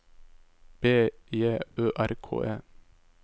B J Ø R K E